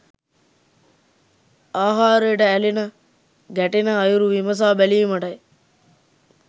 ආහාරයට ඇලෙන ගැටෙන අයුරු විමසා බැලීමටයි.